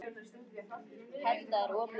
Af hverju ferðu ekki út í mjólkur- búð?